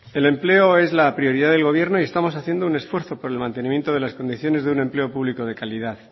el empleo es la prioridad del gobierno y estamos haciendo un esfuerzo por el mantenimiento de las condiciones de un empelo público de calidad